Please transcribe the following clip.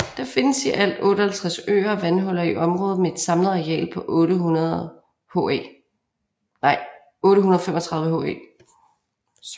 Der findes i alt 58 søer og vandhuller i området med et samlet areal på 835 ha